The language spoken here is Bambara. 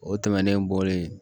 O tɛmɛnen bɔlen